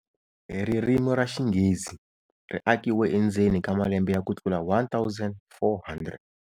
Ririmi ra Xinghezi ri akiwe endzeni ka malembe ya kutlula 1,400.